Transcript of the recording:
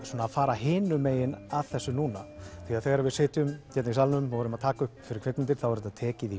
fara hinum megin að þessu núna því þegar við sitjum hérna í salnum og erum að taka upp fyrir kvikmyndir þá er þetta tekið